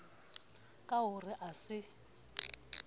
ka ho re a se